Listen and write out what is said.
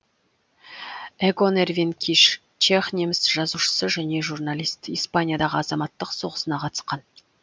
эгон эрвин киш чех неміс жазушысы және журналист испаниядағы азаматтық соғысына қатысқан